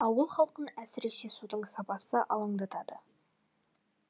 ауыл халқын әсіресе судың сапасы алаңдатады